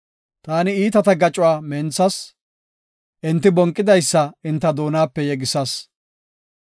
Taani iitata gacuwa menthas; enti bonqidaysa enta doonape yegisas.